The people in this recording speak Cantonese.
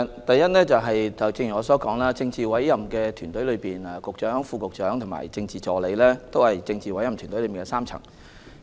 第一，正如我剛才所說，政治委任團隊包括局長、副局長和政治助理3個層次的官員。